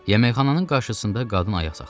Yeməkxananın qarşısında qadın ayaq saxladı.